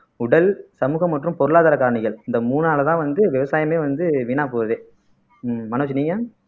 உடல் சமூகம் மற்றும் பொருளாதார காரணிகள் இந்த மூணாலதான் வந்து விவசாயமே வந்து வீணா போகுது உம் மனோஜ் நீங்க